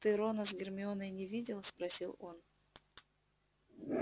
ты рона с гермионой не видел спросил он